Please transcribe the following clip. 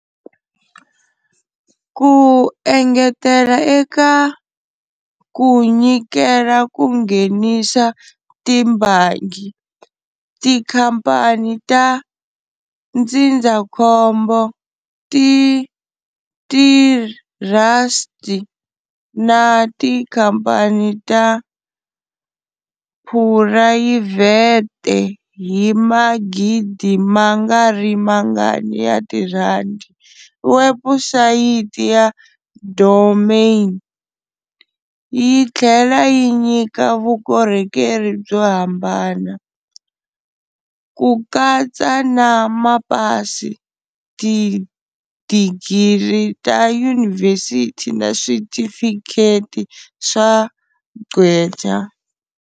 Ku engetela eka ku nyikela ku nghenisa tibangi, tikhamphani ta ndzindzakhombo, tithrasti na tikhamphani ta phurayivhete hi magidi ma nga ri mangani ya tirhandi, webusayiti ya "domain" yi tlhela yi nyika vukorhokeri byo hambana, ku katsa na mapasi, tidigiri ta yunivhesiti na switifikheti swa gqweta.